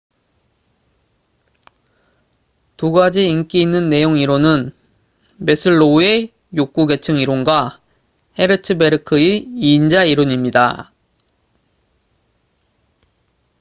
두 가지 인기 있는 내용이론은 매슬로우의 욕구 계층 이론과 헤르츠베르크의 이인자 이론입니다